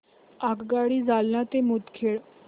आगगाडी जालना ते मुदखेड